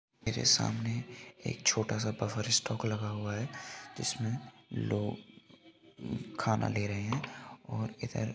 मेरे सामने एक छोटा सा बफर स्टोक लगा हुआ है जिसमें लोग खाना ले रहे हैं और इधर--